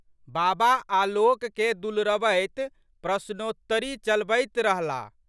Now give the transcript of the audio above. बाबा आलोककेँ दुलरबैत प्रश्नोत्तरी चलबैत रहलाह।